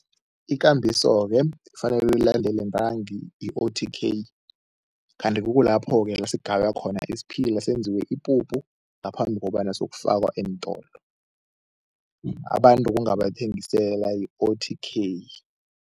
Ikambiso-ke ekufanele uyilandele ntangi yi-O_T_K kanti kukulapho-ke la sigaywa khona isiphila senziwe ipuphu ngaphambi kobana sokufakwa eentolo. Abantu bowungabathengisela i-O_T_K.